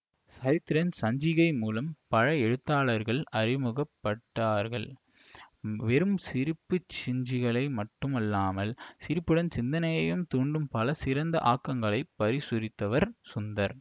சிரித்திரன் சஞ்சிகை மூலம் பல எழுத்தாளர்கள் அறிமுகப்பட்டார்கள் வெறும் சிரிப்பு சஞ்சிகையாக மட்டுமல்லாமல் சிரிப்புடன் சிந்தனையையும் தூண்டும் பல சிறந்த ஆக்கங்களை பிரசுரித்தவர் சுந்தர்